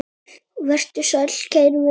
Vertu sæll, kæri vinur.